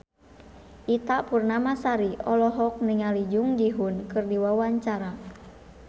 Ita Purnamasari olohok ningali Jung Ji Hoon keur diwawancara